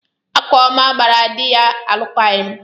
Akụọma gbara di ya alụkwaghịm.